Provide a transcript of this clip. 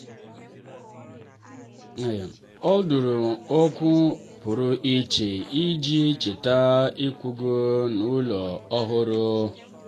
um ọ dụrụ ákwà pụrụ iche iji cheta ịkwaga n'ụlọ ọhụrụ.